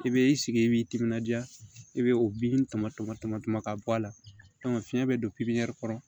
I bɛ i sigi i b'i timinandiya i bɛ o bin tumɔ tama tɔnɔ ka bɔ a la fiɲɛ bɛ don kɔnɔ